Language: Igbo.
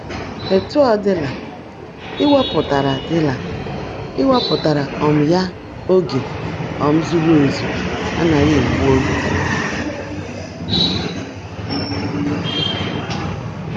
Etu ọ dịla, iwepụtara dịla, iwepụtara um ya oge um zuru ezu agaghị egbu oge.